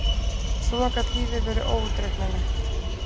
Svona gat lífið verið óútreiknanlegt!